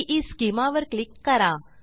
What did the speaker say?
ईस्केमा वर क्लिक करा